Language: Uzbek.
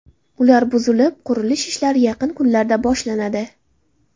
Ular buzilib, qurilish ishlari yaqin kunlarda boshlanadi.